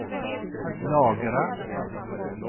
lagra